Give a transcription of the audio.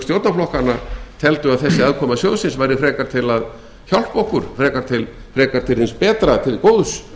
stjórnarflokkanna teldu að þessi aðkoma sjóðsins væri frekar til að hjálpa okkur frekar til hins betra til góðs